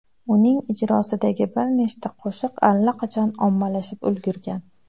Uning ijrosidagi bir nechta qo‘shiq allaqachon ommalashib ulgurgan.